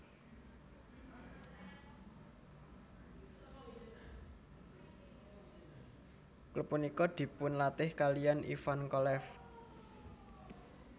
Klub punika dipunlatih kaliyan Ivan Kolev